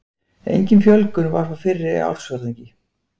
Engin fjölgun var frá fyrra ársfjórðungi